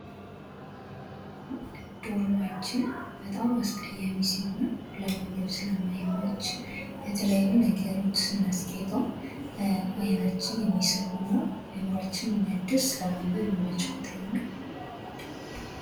ዶርማችን በጣም አስቀያሚ ሲሆን ለማንበብ ስለማይመች በተለያዩ ነገሮች ስናስጌጠው ዓይናችን የሚስብ ሆኖ አይምሮአችን የሚያድስ ለማንበብ የሚመች ቦታ ይሆናል።